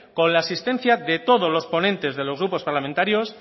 con la asistencia de todos los ponentes de los grupos parlamentarios